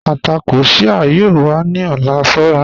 Àtàkọ́ Shia yóò wà ni ọ̀lá, ṣọ̀ra